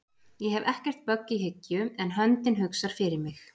Ég hef ekkert bögg í hyggju en höndin hugsar fyrir mig